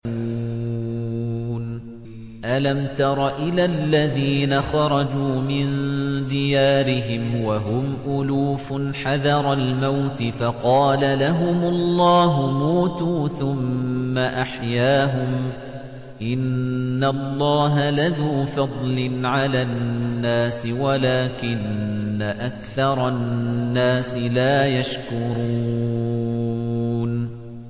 ۞ أَلَمْ تَرَ إِلَى الَّذِينَ خَرَجُوا مِن دِيَارِهِمْ وَهُمْ أُلُوفٌ حَذَرَ الْمَوْتِ فَقَالَ لَهُمُ اللَّهُ مُوتُوا ثُمَّ أَحْيَاهُمْ ۚ إِنَّ اللَّهَ لَذُو فَضْلٍ عَلَى النَّاسِ وَلَٰكِنَّ أَكْثَرَ النَّاسِ لَا يَشْكُرُونَ